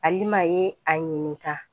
Alima ye a ɲininka